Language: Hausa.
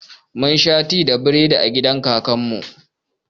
Mun sha ti da biredi a gidan kakan mu